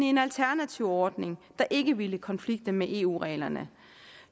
en alternativ ordning der ikke ville konflikte med eu reglerne